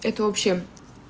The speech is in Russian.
это вообще